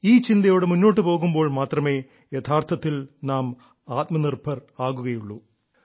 ഈ ചിന്തയോടെ മുന്നോട്ട് പോകുമ്പോൾ മാത്രമേ യഥാർത്ഥത്തിൽ നാം ആത്മനിർഭർ ആകുകയുള്ളൂ